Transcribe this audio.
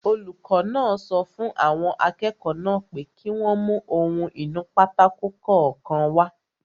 Olùkọ́ náà sọ fún àwọn akẹ́kọ̀ọ́ náà pé kí wọ́n mú ohun-ìnúpátákó kọ̀ọ̀kan wá